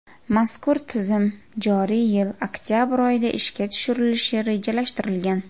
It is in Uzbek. Mazkur tizim joriy yil oktabr oyida ishga tushirilishi rejalashtirilgan.